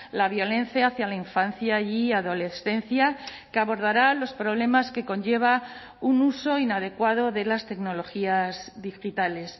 la violencia hacia la infancia y adolescencia que abordará los problemas que conlleva un uso inadecuado de las tecnologías digitales